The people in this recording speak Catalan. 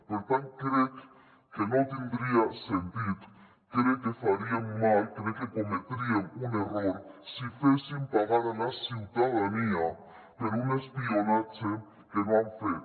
per tant crec que no tindria sentit crec que faríem mal crec que cometríem un error si féssim pagar a la ciutadania un espionatge que no han fet